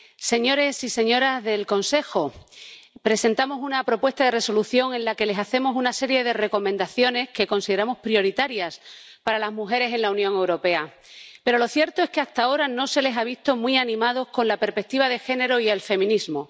Señores y señoras del Consejo, presentamos una propuesta de Resolución en la que les hacemos una serie de recomendaciones que consideramos prioritarias para las mujeres en la Unión Europea. Pero lo cierto es que, hasta ahora, no se les ha visto muy animados con la perspectiva de género y el feminismo.